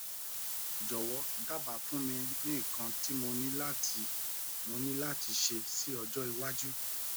jọ̀wọ́ dábàá fun mi ni ikan ti mo ni lati mọ ni lati ṣe si ọjọ́ waju